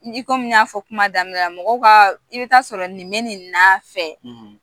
Ni ko min y'a fɔ kuma daminɛ la mɔgɔw ka i bɛ taa sɔrɔ nin bɛ nin na fɛ